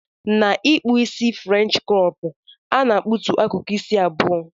Na ikpụ isi french crop ana akpụtụ akụkụ isi abụọ.